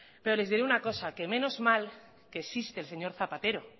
pero les diré una cosa menos mal que existe el señor zapatero